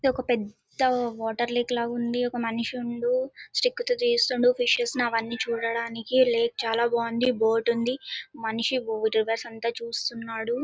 ఇది ఒక పెద్ద వాటర్ లేక్ లాగా ఉంది. ఒక మునిసుండు. స్టిక్ తో తెస్తుండు. ఫిషెస్ ని అవన్నీ చూడటానికి ఈ లేక్ చాలా బాగుంది. బోట్ ఉంది. మనిషి రివర్స్ --